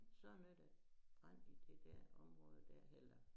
Så når der brand i det dér omrråde dér eller